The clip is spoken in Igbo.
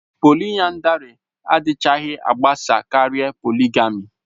Polịyandari adịchaghị agbasa karịa poligamì